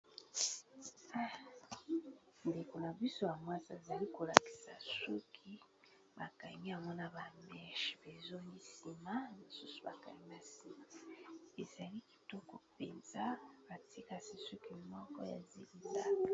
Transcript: Ndeko na biso ya mwasi azali ko lakisa suki ba kangi yango na ba meche, bezongi nsima mosusu bakangi singa ezali kitoko mpenza batie kasi suki moko ya zic zac.